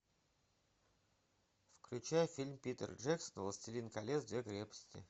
включай фильм питер джексона властелин колец две крепости